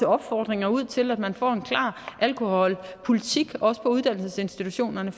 opfordringer ud til at man får en klar alkoholpolitik også på uddannelsesinstitutionerne